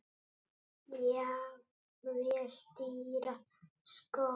Jafnvel dýra skó?